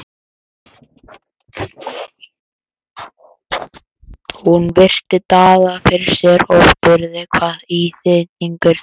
Hún virti Daða fyrir sér og spurði: Hvað íþyngir þér?